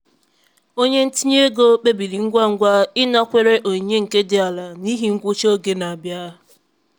onye ntinye ego kpebiri ngwa ngwa ịnakwere onyinye nke dị ala n'ihi ngwụcha oge n'abịa.